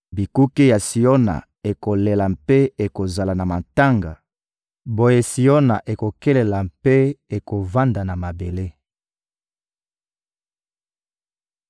Bikuke ya Siona ekolela mpe ekozala na matanga; boye Siona ekokelela mpe ekovanda na mabele.